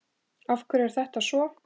Af hverju er þetta svo?